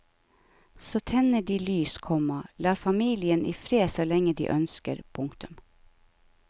Så tenner de lys, komma lar familien i fred så lenge de ønsker. punktum